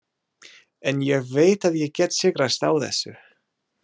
En ég veit að ég get sigrast á þessu.